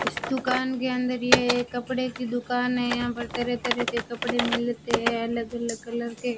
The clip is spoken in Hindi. इस दुकान के अंदर यह कपड़े की दुकान है यहां पर तरह तरह के कपड़े मिलते हैं अलग अलग कलर के।